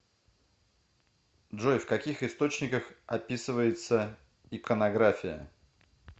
джой в каких источниках описывается иконография